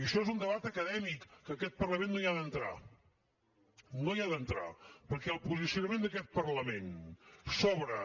i això és un debat acadèmic en què aquest parlament no hi ha d’entrar no hi ha d’entrar perquè el posicionament d’aquest parlament sobre